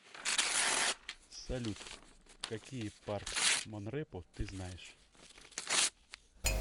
салют какие парк монрепо ты знаешь